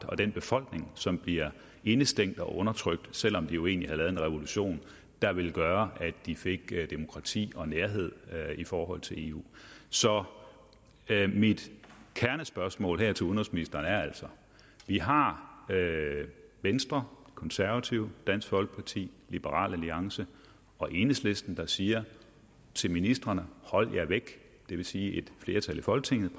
og den befolkning som bliver indestængt og undertrykt selv om de jo egentlig havde lavet en revolution der ville gøre at de fik demokrati og nærhed i forhold til eu så mit kernespørgsmål til udenrigsministeren er altså vi har venstre konservative dansk folkeparti liberal alliance og enhedslisten der siger til ministrene at holde sig væk det vil sige mener et flertal i folketinget